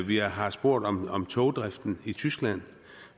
vi har spurgt om om togdriften i tyskland